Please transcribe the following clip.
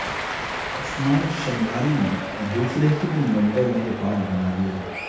عثمان شنواری نے دوسرے ہی ون ڈے میں ریکارڈ بنا دیا